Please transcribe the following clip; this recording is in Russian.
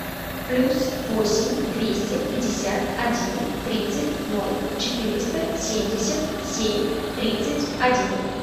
плюс восемь двести пятьдесят один тридцать ноль четыреста семьдесят семь тридцать один